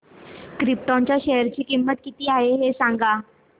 krypton च्या share ची किंमत किती आहे हे सांगा